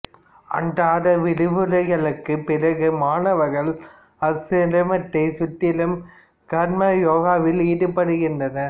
அன்றாட விரிவுரைகளுக்குப் பிறகு மாணவர்கள் ஆசிரமத்தைச் சுற்றி கர்மம் யோகாவில் ஈடுபடுகின்றனர்